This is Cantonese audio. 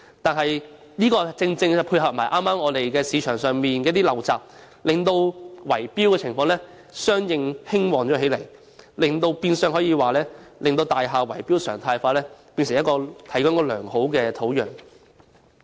但剛巧加上市場上的陋習，令圍標情況相應地興旺起來，變相為大廈圍標常態化提供了良好的土壤。